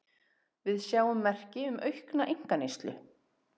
Við sjáum merki um aukna einkaneyslu